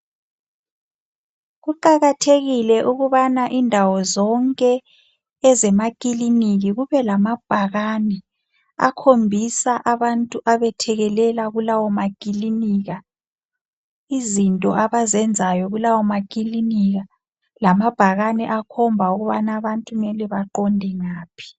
kuqakathekileukubana indawo zonke ezemakiliniki kube lamabhakane akhombisa abantu abethekelela kulaw makilinika izinto abazenzayo kulawo makilinika lamabhakane akhomba ukubana abantu kumele baqonde ngaphi